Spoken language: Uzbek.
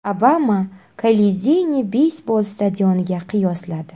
Obama Kolizeyni beysbol stadioniga qiyosladi.